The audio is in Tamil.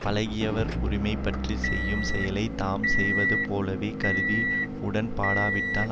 பழகியவர் உரிமைப்பற்றிச் செய்யும் செயலை தாம் செய்தது போலவேக் கருதி உடன்பாடாவிட்டால்